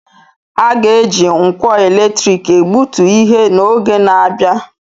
A ga-eji nkwọ eletrik egbutu ihe n'oge na-abịa.